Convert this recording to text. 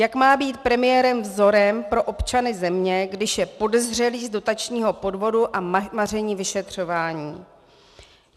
Jak má být premiér vzorem pro občany země, když je podezřelý z dotačního podvodu a maření vyšetřování?